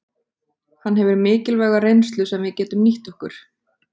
Hann hefur mikilvæga reynslu sem við getum nýtt okkur.